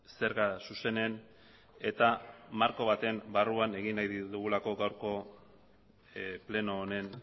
zerga zuzenen eta marko baten barruan egin nahi ditugulako gaurko pleno honen